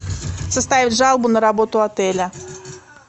составить жалобу на работу отеля